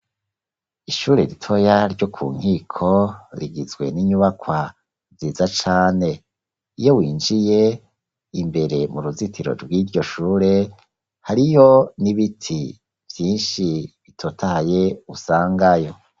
Ishure ritoya ryo ku Nkiko, rigizwe n'inyubakwa nziza cane; iyo winjiye, imbere mu ruzitiro rw'iryo shure, hariyo n'ibiti vyinshi, bitotahaye usangayo.